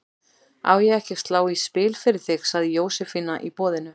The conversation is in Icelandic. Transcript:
Á ég ekki að slá í spil fyrir þig? sagði Jósefína í boðinu.